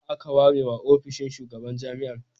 Nawa aka ware wa ofishin shugaban jami'ar?